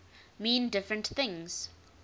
mean different things